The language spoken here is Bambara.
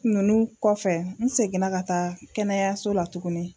Nunnu kɔfɛ n seginna ka taa kɛnɛyaso la tugunni.